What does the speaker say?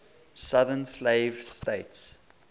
southern slave states